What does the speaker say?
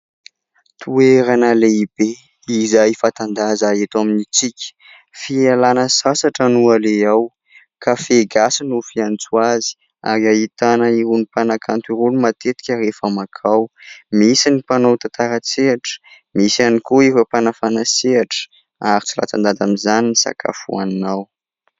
Toerana lehibe izay fanta-daza eto amintsika fialana sasatra no aleha ao. Cafe gasy no fiantso azy ary ahitana eo amin'ny mpanakanto roa matetika rehefa mankao. Misy ny mpanao tantara an-tsehatra misy ihany koa ny mpanafana sehatra ary tsy latsa-danja amin'izay koa ny sakafo hohanina ao